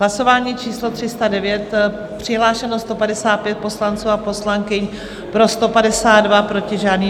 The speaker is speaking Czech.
Hlasování číslo 309, přihlášeno 155 poslanců a poslankyň, pro 152, proti žádný.